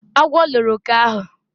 agwo loro oke ahu